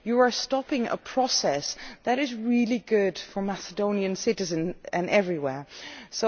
You are stopping a process that is really good for Macedonian citizens and in general.